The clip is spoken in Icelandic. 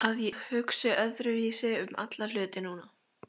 Að ég hugsi öðruvísi um alla hluti núna.